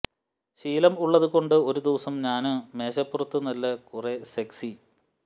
ശീലം ഉള്ളത് കൊണ്ട് ഒരു ദിവസം ഞാന് മേശപ്പുറത്തു നല്ല കുറെ സെക്സി